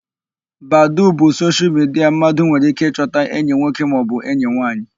Badoo bụ soshial midia mmadụ nwere íké ịchọta enyi nwoke maọbụ enyi nwaanyị.